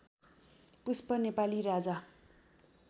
पुष्प Nepali राजा